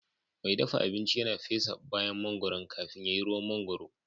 Mai dafa abinci yana fesa bayan mangoron kafin ya yi ruwan mangwaro